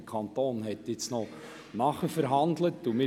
Der Kanton hat nun Nachverhandlungen geführt.